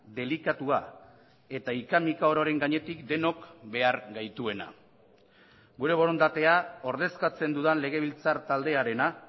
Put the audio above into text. delikatua eta hika mika ororen gainetik denok behar gaituena gure borondatea ordezkatzen dudan legebiltzar taldearena